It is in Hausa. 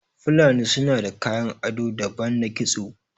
Fulani sunada kayan ado daban na kisto